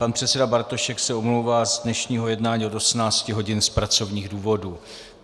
Pan předseda Bartošek se omlouvá z dnešního jednání od 18 hodin z pracovních důvodů.